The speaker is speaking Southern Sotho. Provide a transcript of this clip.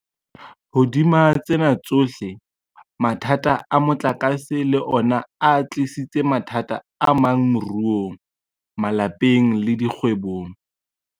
Hodima tsena tsohle, mathata a motlakase le ona a tlisitse mathata amang moruong, malapeng le dikgwebong.